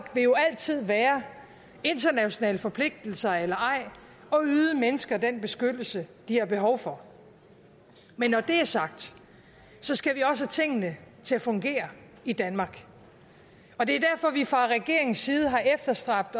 vil jo altid være internationale forpligtelser eller ej at yde mennesker den beskyttelse de har behov for men når det er sagt så skal vi også have tingene til at fungere i danmark og det er derfor at vi fra regeringens side har efterstræbt